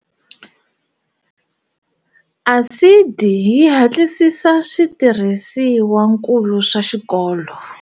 ASIDI yi hatlisisa switirhisiwankulu swa xikolo.